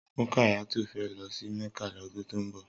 Rukayatu fè lò sí Mecca lòdún tó n bò